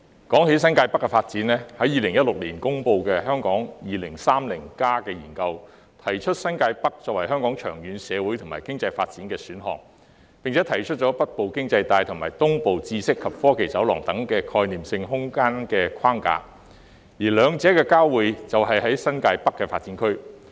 關於新界北發展 ，2016 年公布的《香港 2030+》研究提出以新界北作為香港長遠社會和經濟發展的選項，並提出北部經濟帶及東部知識及科技走廊等概念性空間框架，而兩者的交匯就在新界北發展區。